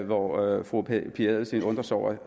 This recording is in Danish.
og at fru pia adelsteen undrer sig over